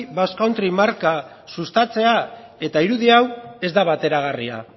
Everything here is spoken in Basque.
basque country marka sustatzea eta irudi hau ez da bateragarria